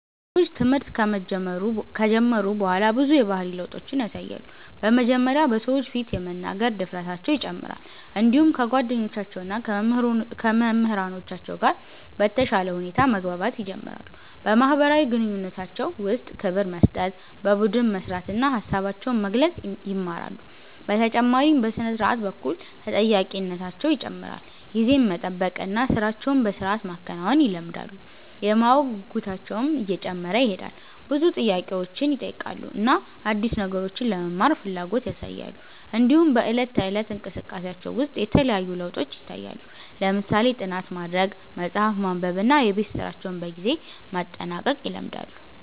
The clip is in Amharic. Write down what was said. ልጆች ትምህርት ከጀመሩ በኋላ ብዙ የባህሪ ለውጦችን ያሳያሉ። በመጀመሪያ በሰዎች ፊት የመናገር ድፍረታቸው ይጨምራል፣ እንዲሁም ከጓደኞቻቸው እና ከመምህራኖቻቸው ጋር በተሻለ ሁኔታ መግባባት ይጀምራሉ። በማህበራዊ ግንኙነታቸው ውስጥ ክብር መስጠት፣ በቡድን መስራት እና ሀሳባቸውን መግለጽ ይማራሉ። በተጨማሪም በሥነ-ስርዓት በኩል ተጠያቂነታቸው ይጨምራል፣ ጊዜን መጠበቅ እና ሥራቸውን በሥርዓት ማከናወን ይለምዳሉ። የማወቅ ጉጉታቸውም እየጨመረ ይሄዳል፣ ብዙ ጥያቄዎችን ይጠይቃሉ እና አዲስ ነገሮችን ለመማር ፍላጎት ያሳያሉ። እንዲሁም በዕለት ተዕለት እንቅስቃሴያቸው ውስጥ የተለያዩ ለውጦች ይታያሉ፣ ለምሳሌ ጥናት ማድረግ፣ መጽሐፍ ማንበብ እና የቤት ስራቸውን በጊዜ ማጠናቀቅ ይለምዳሉ።